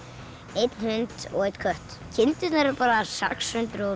einn hund og einn kött kindurnar eru bara sex hundruð og